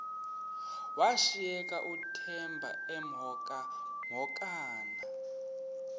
washiyeka uthemba emhokamhokana